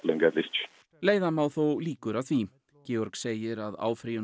leiða má þó líkur að því Georg segir að áfrýjun